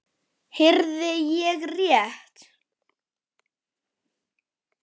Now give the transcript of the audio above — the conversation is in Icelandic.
Heyrði ég rétt.